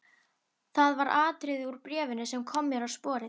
Það var atriði úr bréfinu sem kom mér á sporið.